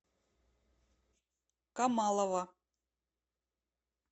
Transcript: камалова